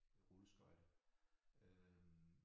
Rulleskøjter øh